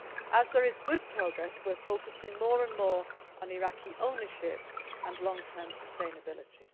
As there is good progress, we are focusing more and more on Iraqi ownership and long term sustainability.